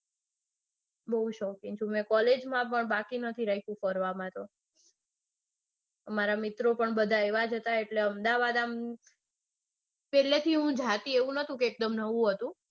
બૌ શોખીન છું મેં gollage માં પણ બાકી નથી રાખ્યું ફરવામાં તો. મારા મિત્રો પણ બધા એવા હતા એટલે અમદાવાદ આમ પેલેથી હું બૌ જાતિ એટલે એવું નતું કે એકદમ